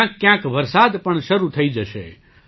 ક્યાંકક્યાંક વરસાદ પણ શરૂ થઈ જશે